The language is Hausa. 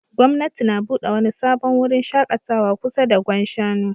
Gwamnati na bude wani sabon wurin shakatawa kusa da Gwan Shanu